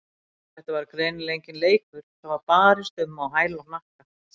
Þetta var greinilega enginn leikur, það var barist um á hæl og hnakka.